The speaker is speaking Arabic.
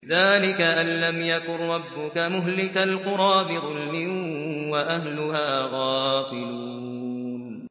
ذَٰلِكَ أَن لَّمْ يَكُن رَّبُّكَ مُهْلِكَ الْقُرَىٰ بِظُلْمٍ وَأَهْلُهَا غَافِلُونَ